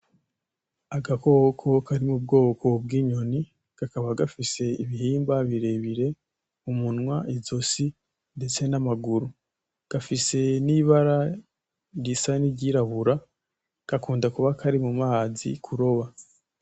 Agakoko kari mu bwoko bw'inyoni , kakaba gafise ibihimba birebire, umunwa, izosi ndetse n'amaguru, gafise n'ibara risa niry'irabura, gakunda kuba kari mu mazi kuroba.